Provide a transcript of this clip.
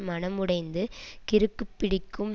மனமுடைந்து கிறுக்குப்பிடிக்கும்